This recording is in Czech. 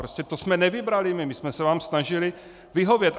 Prostě to jsme nevybrali my, my jsme se vám snažili vyhovět.